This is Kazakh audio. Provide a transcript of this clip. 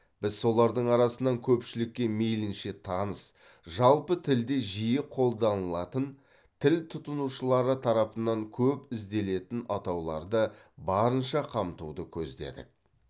біз солардың арасынан көпшілікке мейлінше таныс жалпы тілде жиі қолданылатын тіл тұтынушылары тарапынан көп ізделетін атауларды барынша қамтуды көздедік